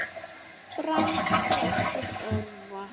Brands þáttur örva